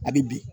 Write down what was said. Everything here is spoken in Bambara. A bi bin